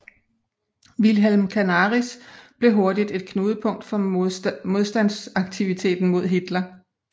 Wilhelm Canaris blev hurtigt et knudepunkt for modtandsaktiviteten mod Hitler